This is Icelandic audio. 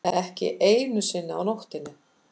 Ekki einu sinni á nóttunni.